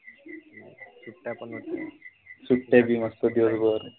सुट्ट्या भी मस्त दिवसभर.